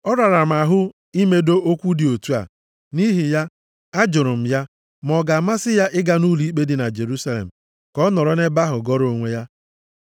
Ọ rara m ahụ imedo okwu dị otu a. Nʼihi ya, a jụrụ m ya ma ọ ga-amasị ya ị ga nʼụlọikpe dị na Jerusalem ka ọ nọrọ nʼebe ahụ gọrọ onwe ya.